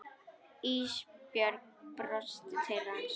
Ísbjörg brosti til hans.